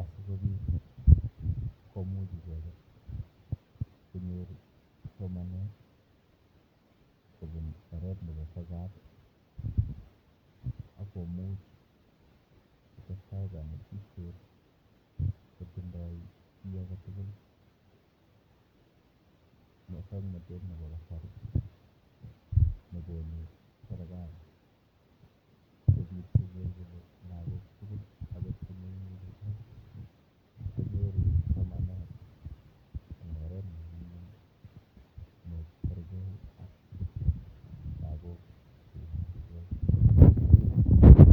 asikobit komuch icheket konyor somanet kobun oret nepo sokat akomuch kotestai kanetishet kotindoi chi aketugul musoknotet nepo kasari nekonu serikali sikobit koker kole lagok tugul akot chimemuchigei konyoru somanet eng oret nenyumnyum nekergei ak lagok cheimuchigei.